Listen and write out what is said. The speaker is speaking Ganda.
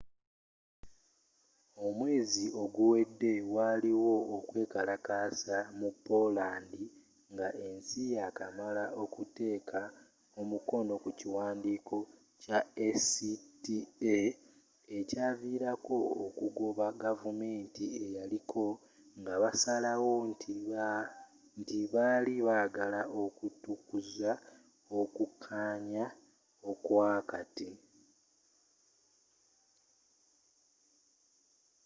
omwezi oguwedde waliwo okwekalakasa mu poland nga esi ya kamala okuteka omukono ku kiwandiiko kya acta ekyavilako okugoba gavumanti eyaliko nga basalawo nti bali bagala okutukuza okukanya okwa kati